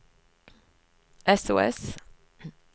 sos